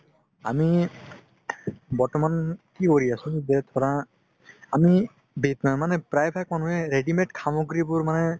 আমি বৰ্তমান কি কৰি আছো যে ধৰা আমি প্ৰায় ভাগ মানুহে readymade সামগ্ৰীবোৰ মানে